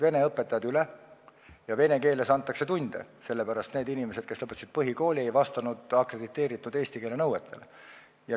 Vene õpetajad tulid sinna üle ja tunde anti vene keeles, sest need inimesed, kes lõpetasid põhikooli, ei vastanud eesti keele oskuse akrediteerimisnõuetele.